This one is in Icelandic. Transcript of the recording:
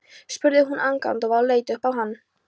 spurði hún agndofa og leit upp á hann.